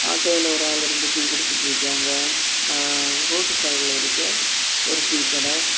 ஆட்டோல ஒரு ஆள் இருந்து டீ குடிச்சிட்டு இருக்காங்க ஆ ரோட் சைடுல இருக்க ஒரு டீ கடை.